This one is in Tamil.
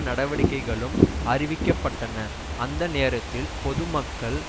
நடவடிக்கைகளும் அறிவிக்க பட்டன அந்த நேரத்தில் பொது மக்கள்